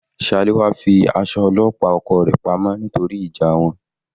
Salewa fi aṣọ ọlọ́pàá oko rẹ̀ pa mọ́ nítorí ìjà wọn.